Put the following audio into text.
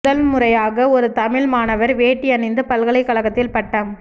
முதல் முறையாக ஒரு தமிழ் மாணவர் வேட்டி அணிந்து பல்கலைக்கழகத்தில் பட்டம்